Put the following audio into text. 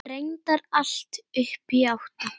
Reyndar allt upp í átta.